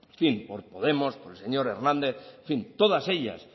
en fin por podemos por el señor hernández en fin todas ellas